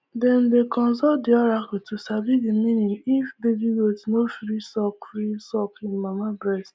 dem dey consult the oracle to sabi the meaning if baby goat no free suck free suck hin mama breast